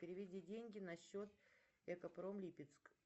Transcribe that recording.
переведи деньги на счет экопром липецк